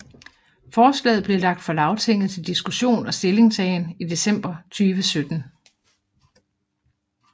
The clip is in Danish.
Forslaget blev lagt for Lagtinget til diskussion og stillingtagen i december 2017